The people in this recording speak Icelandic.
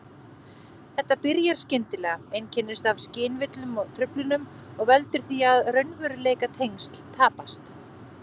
Þetta byrjar skyndilega, einkennist af skynvillum og-truflunum og veldur því að raunveruleikatengsl tapast.